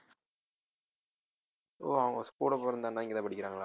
ஓ அவங்க கூட பொறந்த அண்ணா இங்கதான் படிக்கிறாங்களா